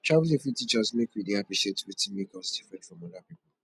travelling fit teach us make we dey appreciate wetin make us different from other pipo